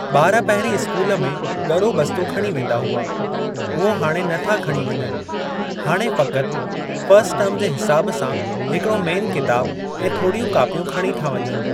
ॿार पहिरीं स्कूल में ग॒रो बस्तो खणी वेंदा हुआ। उहो हाणे न था खणी वञनि। हाणे फ़क़ति फ़स्ट टर्म जे हिसाब सां हिकड़ो मेन किताब ऐं थोड़ियूं कोपियूं खणी था वञनि।